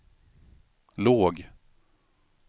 låg